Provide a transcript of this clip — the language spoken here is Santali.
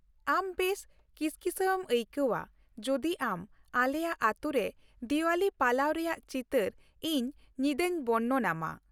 ᱟᱢ ᱵᱮᱥ ᱠᱤᱥᱠᱤᱥᱟᱹᱣ ᱮᱢ ᱟᱹᱭᱠᱟᱹᱣᱼᱟ ᱡᱩᱫᱤ ᱟᱢ ᱟᱞᱮᱭᱟᱜ ᱟᱹᱛᱩ ᱨᱮ ᱫᱤᱣᱟᱞᱤ ᱯᱟᱞᱟᱣ ᱨᱮᱭᱟᱜ ᱪᱤᱛᱟᱹᱨ ᱤᱧ ᱧᱤᱫᱟᱹᱧ ᱵᱚᱨᱱᱚᱱᱼᱟᱢᱟ ᱾